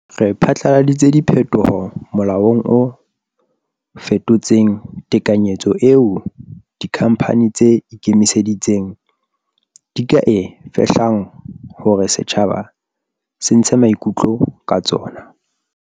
Re phatlaladitse diphetoho molaong o fetotseng tekanyetso eo dikhamphane tse ikemetseng di ka e fehlang hore setjhaba se ntshe maikutlo ka tsona.